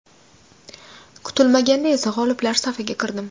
Kutilmaganda esa g‘oliblar safiga kirdim.